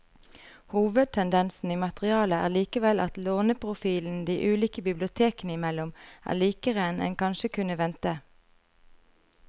Hovedtendensen i materialet er likevel at låneprofilen de ulike bibliotekene imellom er likere enn en kanskje kunne vente.